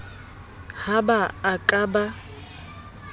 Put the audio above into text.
ha ba a ka ba